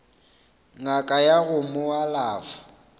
ngaka ya go mo alafa